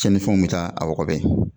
Tiɲɛnifɛnw bɛ taa a wɔgɔbɛ